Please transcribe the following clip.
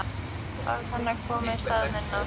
Orð hennar koma í stað minna.